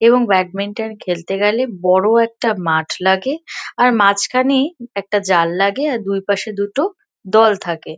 এবং ব্যাডমিন্টন খেলতে গেলে বড়ো একটা মাঠ লাগে আর মাঝখানে একটা জাল লাগে আর দুইপাশে দুটো দল থাকে।